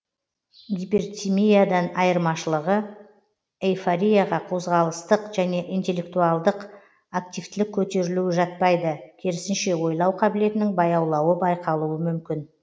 гипертимиядан айырмашылығы эйфорияға қозғалыстық және интеллектуалдық активтілік көтерілуі жатпайды керісінше ойлау қабілетінің баяулауы байқалуы мүмкін